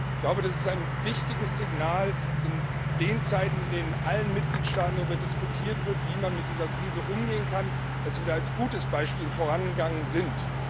Ich glaube, es ist ein wichtiges Signal in diesen Zeiten, in denen in allen Mitgliedstaaten darüber diskutiert wird, wie man mit dieser Krise umgehen kann, dass wir hier mit gutem Beispiel vorangegangen sind.